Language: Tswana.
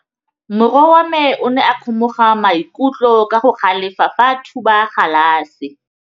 Morwa wa me o ne a kgomoga maikutlo ka go galefa fa a thuba galase.